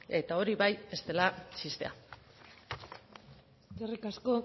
eta hori bai ez dela txistea eskerrik asko